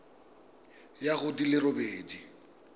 ya go di le robedi